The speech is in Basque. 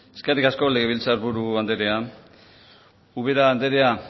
eskerrik asko legebiltzarburu andrea ubera andrea